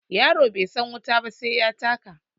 Yaro bai san wuta ba sai ya taka